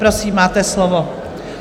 Prosím, máte slovo.